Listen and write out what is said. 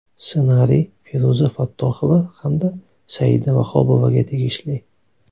Ssenariy Feruza Fattohova hamda Saida Vahobovaga tegishli.